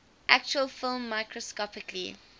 actual film microscopically